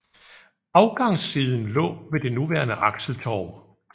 Afgangssiden lå ved det nuværende Axeltorv